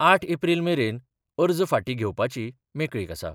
आठ एप्रील मेरेन अर्ज फाटीं घेवपाची मेकळीक आसा.